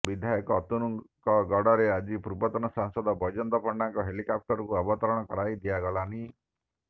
ବିଧାୟକ ଅତନୁଙ୍କ ଗଡ଼ରେ ଆଜି ପୂର୍ବତନ ସାଂସଦ ବୈଜୟନ୍ତ ପଣ୍ଡାଙ୍କ ହେଲିକାପ୍ଟରକୁ ଅବତରଣ କରାଇ ଦିଆଗଲାନି